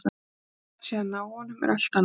Hvort hægt sé að ná honum er allt annað mál.